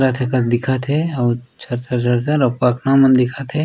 करत हे कस दिखत हे अउ पकरा मन दिखत हे।